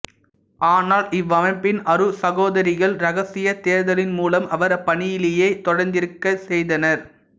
ஆனால் இவ்வமைப்பின் அருட்சகோதரிகள் இரகசிய தேர்தலின் மூலம் அவர் அப்பணியிலேயே தொடர்ந்திருக்க செய்தனர்